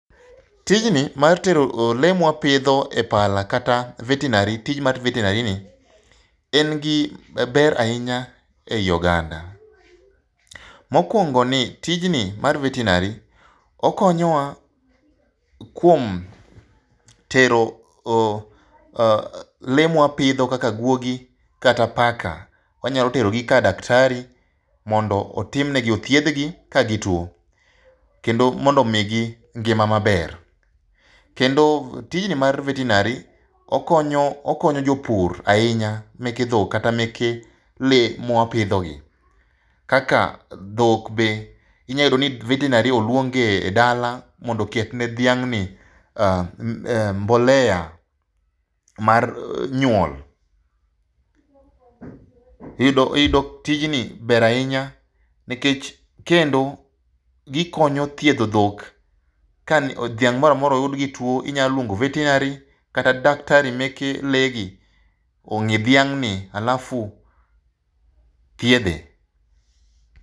Tijni mar tero lee mwapidho e pala kata veterinary, tich mar veterinary ni, en gi ber ahinya ei oganda. Mokwongo, ni tijni mar veterinary okonyowa kuom tero lee mwapidho kaka guogi, kata paka . Wanyalo terogi ka daktari mondo otimnegi, othiedhgi ka gituwo kendo mondo omigi ngima maber. Kendo tijni mar vertenary okonyo jopur ahinya mege dhok kata mege lee mwapidhogi, kaka dhok be, inya yudo ni veterinary olwong' e dala mondo oketne dhiang'ni mbolea mar nyuol. Tijni ber ahinya nikech kendo gikonyo thiedho dhok, ka dhiang' mora mora oyud gi tuwo inyaluongo veterinary kata daktari meke lee gi ong'i dhiang'ni alafu thiedhe.